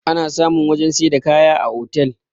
ana samun wajen sai da kaya a otal